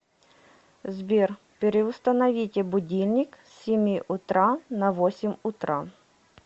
сбер переустановите будильник с семи утра на восемь утра